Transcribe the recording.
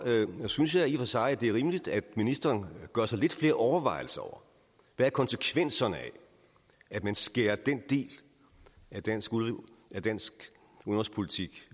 synes jeg i og for sig at det er rimeligt at ministeren gør sig lidt flere overvejelser over hvad konsekvenserne er af at man skærer den del af dansk af dansk udenrigspolitik